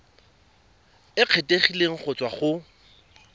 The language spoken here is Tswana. e kgethegileng go tswa go